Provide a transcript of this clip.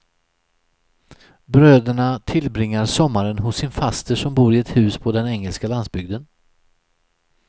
Bröderna tillbringar sommaren hos sin faster som bor i ett hus på den engelska landsbygden.